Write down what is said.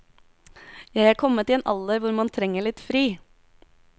Jeg er kommet i en alder hvor man trenger litt fri.